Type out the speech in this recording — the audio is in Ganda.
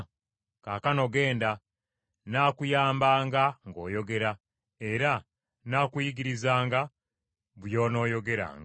Kaakano, genda! Nnaakuyambanga ng’oyogera, era nnaakuyigirizanga by’onooyogeranga.”